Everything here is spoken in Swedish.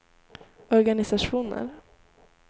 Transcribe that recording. organisationer